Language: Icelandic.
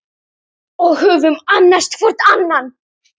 Við höfum annast hvor annan.